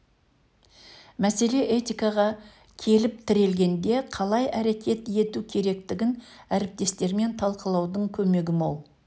мәселе этикаға келіп тірелгенде қалай әрекет ету керектігін әріптестермен талқылаудың көмегі мол